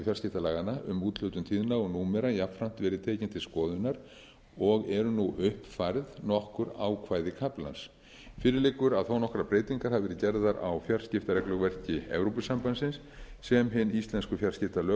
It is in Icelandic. fjarskiptalaganna um úthlutun tíðna og númera jafnframt verið tekinn til skoðunar og eru nú uppfærð nokkur ákvæði kaflans fyrir liggur að þó nokkrar breytingar hafa verið gerðar á fjarskiptaregluverki evrópusambandsins sem hin íslensku fjarskiptalög